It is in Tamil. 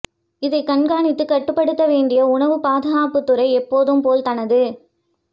இதை கண்காணித்து கட்டுப்படுத்த வேண்டிய உணவு பாதுகாப்பு துறை எப்போதும் போல் தனது